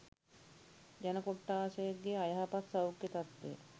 ජන කොට්ඨාසයකගේ අයහපත් සෞඛ්‍ය තත්ත්වය